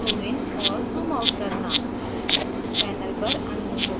rotate zoom in और zoom out करना